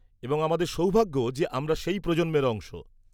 -এবং আমাদের সৌভাগ্য যে আমরা সেই প্রজন্মের অংশ।